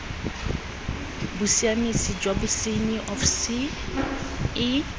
bosiamisi jwa bosenyi of ce